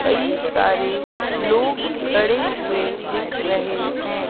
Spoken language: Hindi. कई सारे लोग खड़े हुए दिख रहे हैं।